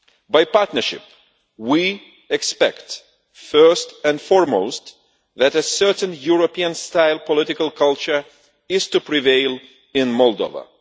By partnership we expect first and foremost that a certain European style political culture is to prevail in Moldova.